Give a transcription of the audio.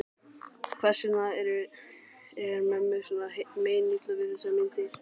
Hvers vegna er mömmu svona meinilla við þessar myndir?